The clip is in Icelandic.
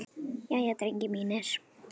Jæja, drengir mínir!